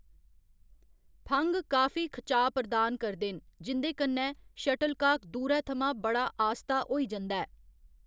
फंघ काफी खचाऽ प्रदान करदे न, जिं'दे कन्नै शटलकाक दूरै थमां बड़ा आस्ता होई जंदा ऐ।